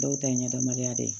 Dɔw ta ye ɲɛnɛmaya de ye